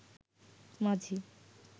মাঝি